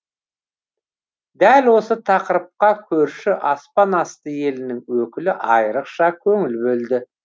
дәл осы тақырыпқа көрші аспан асты елінің өкілі айрықша көңіл бөлді